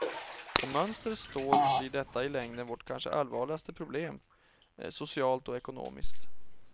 Om mönstret står blir detta i längden vårt kanske allvarligaste problem, socialt och ekonomiskt.